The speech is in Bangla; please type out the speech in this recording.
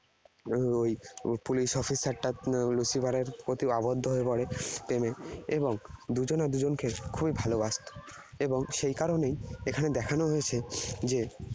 ওই police officer টা Lucifer এর প্রতি আবদ্ধ হয়ে পরে। এবং দুজনা দুজনকে খুবই ভালবাসত। এবং সেই কারণেই এখানে দেখানো হয়েছে যে